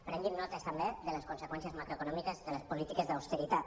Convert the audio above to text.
prenguin nota també de les conseqüències macroeconòmiques de les polítiques d’austeritat